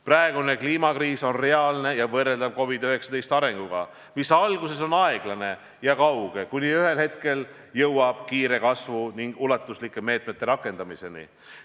Praegune kliimakriis on reaalne ja võrreldav COVID-19 arenguga: alguses on see aeglane ja kauge, kuni ühel hetkel oleme jõudnud kiire kasvu ning ulatuslike meetmete rakendamiseni.